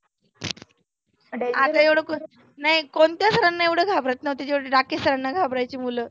आपल्या एवढ कोण. नाही कोणत्या sir ना एवढ घाबरत नव्हते तेव्हढे डाके sir ना घाबरायचे मुलं.